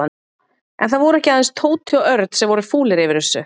En það voru ekki aðeins Tóti og Örn sem voru fúlir yfir þessu.